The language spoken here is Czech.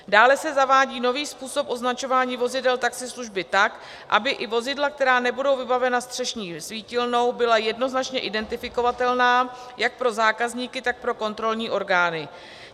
Dále se zavádí nový způsob označování vozidel taxislužby tak, aby i vozidla, která nebudou vybavena střešní svítilnou, byla jednoznačně identifikovatelná jak pro zákazníky, tak pro kontrolní orgány.